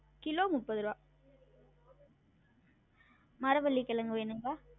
Kilo முப்பது ருவா மரவள்ளி கெழங்கு வேணுங்களா?